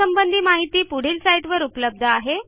यासंबंधी माहिती पुढील साईटवर उपलब्ध आहे